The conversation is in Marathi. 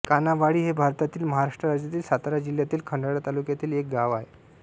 कान्हावाडी हे भारतातील महाराष्ट्र राज्यातील सातारा जिल्ह्यातील खंडाळा तालुक्यातील एक गाव आहे